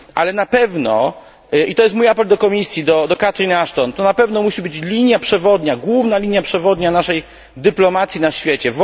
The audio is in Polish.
Ale na pewno i to jest mój apel do Komisji, do Catherine Ashton to na pewno musi być linia przewodnia, główna linia przewodnia naszej dyplomacji na świecie.